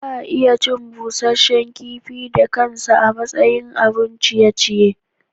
Za a iya cin busasshen kifi da kansa a matsayin abun ciye-ciye